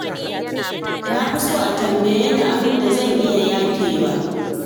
Na fi so a tambaye ni abin da zan iya yafewa.